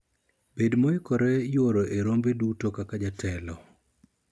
bed moikore yuoro e rombe duto kaka jatelo